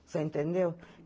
Você entendeu?